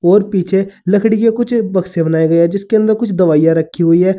और पीछे लकड़ी के कुछ बक्से बनाए गए हैं जिसके अंदर कुछ दवाइयां रखी हुई है।